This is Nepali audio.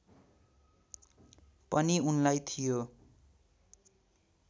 पनि उनलाई थियो